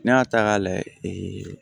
N'i y'a ta k'a layɛ